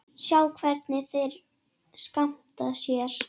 Sjá hvernig þeir skemmta sér.